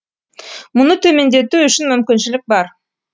мұны төмендету үшін мүмкіншілік бар